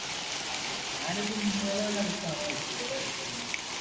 ഞാൻ ഇന്നലെ ഒരു അൽഫാം കഴിച്ചു ഇവിടെ അടുത്ത് നിന്ന്